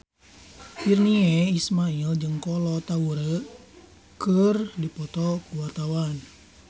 Virnie Ismail jeung Kolo Taure keur dipoto ku wartawan